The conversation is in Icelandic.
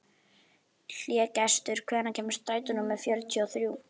Hlégestur, hvenær kemur strætó númer fjörutíu og þrjú?